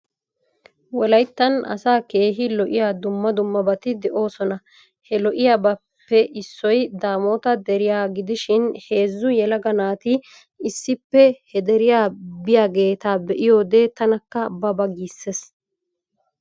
Wolayttan asa keehi lo'iya dumma dummabati de'oosona. He lo'iyaabaappe issoy daamoota deriya gidishin heezzu yelaga naati issippe he deriya biyaageeta be'iyode tanakka ba ba giissees.